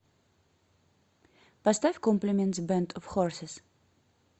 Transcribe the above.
поставь комплиментс бэнд оф хорсис